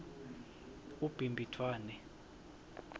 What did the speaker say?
ubhimbidvwane